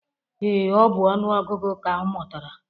Ee, ọ bụ ọnụ ọgụgụ ka ọ mụtara